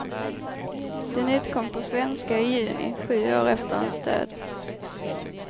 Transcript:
Den utkom på svenska i juni, sju år efter hans död.